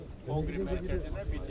Konqres mərkəzində bitişikdir.